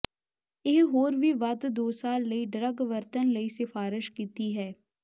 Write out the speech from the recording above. ਇਹ ਹੋਰ ਵੀ ਵੱਧ ਦੋ ਸਾਲ ਲਈ ਡਰੱਗ ਵਰਤਣ ਲਈ ਸਿਫਾਰਸ਼ ਕੀਤੀ ਹੈ